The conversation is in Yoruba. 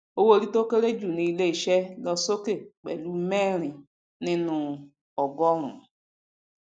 owó orí tó kéré jù um ní ilé iṣẹ lọ sókè pẹlú mẹrin nínuu ogọrùnún